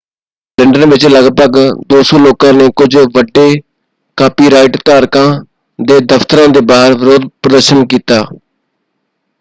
London ਵਿੱਚ ਲਗਭਗ 200 ਲੋਕਾਂ ਨੇ ਕੁਝ ਵੱਡੇ ਕਾਪੀਰਾਈਟ ਧਾਰਕਾਂ ਦੇ ਦਫਤਰਾਂ ਦੇ ਬਾਹਰ ਵਿਰੋਧ ਪ੍ਰਦਰਸ਼ਨ ਕੀਤਾ।